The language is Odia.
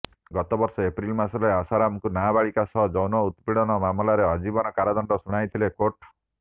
ଗତବର୍ଷ ଏପ୍ରିଲ ମାସରେ ଆଶାରାମକୁ ନାବାଳିକା ସହ ଯୌନ ଉତ୍ପୀଡ଼ନ ମାମଲାରେ ଆଜୀବନ କାରାଦଣ୍ଡ ଶୁଣାଇଥିଲେ କୋର୍ଟ